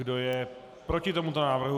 Kdo je proti tomuto návrhu?